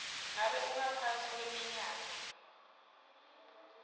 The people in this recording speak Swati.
ngabe ungaphasi kweminyaka